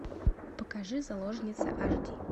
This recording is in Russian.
покажи заложница аш ди